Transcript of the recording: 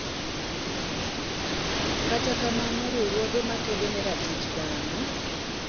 kata kamano, riwrruoge makedo ne ratich dhano,